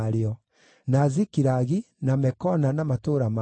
na Zikilagi, na Mekona na matũũra marĩo,